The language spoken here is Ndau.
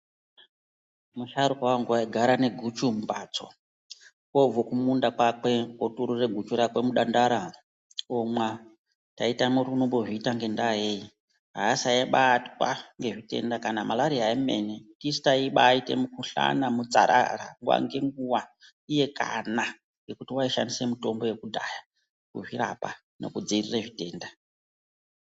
Musharukwa wangu waigara ne guchu mumbatso, oobve kumunda kwakwe oturura guchu rakwe mudandara omwa. Taitama kuti unombozviita ngendaa yei, aasaibatwa ngezvitenda kana Malaria emene. Tisu taibaiita mukuhlana, mutsarara nguwa ngenguwa, iye kana ngekuti waishandisa mitombo yekudhaya kuzvirapa nekudzivirira zvitenda.